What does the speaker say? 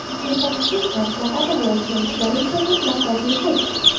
Mutaxassis maslahati va o‘lchov ishlari esa mutlaqo bepul.